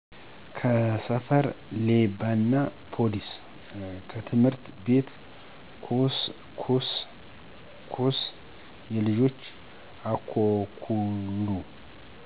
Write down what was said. ከሰፈር -ሌባናፓሊስ ከትምህርት ቤት -ኮስ ኮስየልጆች-አኮኩሉ